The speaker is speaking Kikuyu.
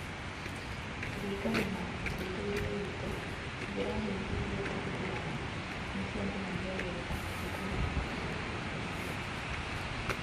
Kũringana na ũthuthuria witũ, njĩra nyingĩ iria tũhũthĩrĩte nĩ cionanagia wega ũndũ ũcio.